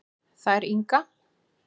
Þær Inga